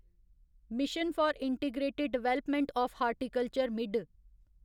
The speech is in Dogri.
mission for integrated development O F horticulture मिढ